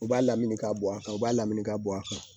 U b'a lamini ka bɔ a kan u b'a lamini ka bɔ a kan